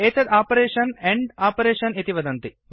एतत् operation and operation इति वदन्ति